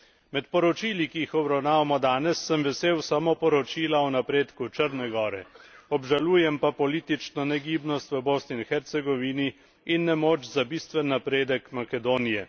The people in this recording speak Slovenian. Med poročili, ki jih obravnavamo danes, sem vesel samo poročila o napredku Črne gore, obžalujem pa politično negibnost v Bosni in Hercegovini in nemoč za bistven napredek Makedonije.